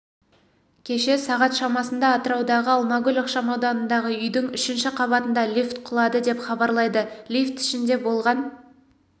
кеше сағат шамасында атыраудағы алмагүл ықшамауданындағы үйдің үшінші қабатында лифт құлады деп хабарлайды лифт ішінде болған